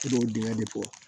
I b'o dingɛ de bɔ